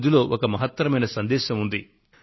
ఇందులో ఒక మహత్తరమైన సందేశం దాగి ఉంది